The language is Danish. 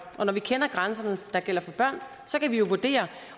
og når vi kender grænserne der gælder for børn så kan vi jo vurdere